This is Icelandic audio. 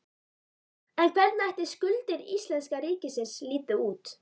En hvernig ætli skuldir íslenska ríkisins líti út?